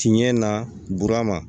Tiɲɛ na burama